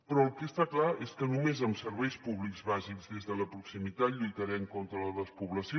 però el que està clar és que només amb serveis públics bàsics des de la proximitat lluitarem contra la despoblació